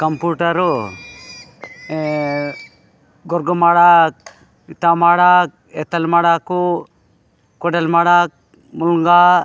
कंप्यूटरो अ गोरग्मडात तमडात इतल मडाको कोडल मड़क मूंगा --